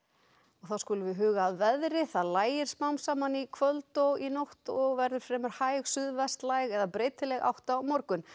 þá að veðri það lægir smám saman í kvöld og nótt og verður fremur hæg eða breytileg átt á morgun